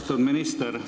Austatud minister!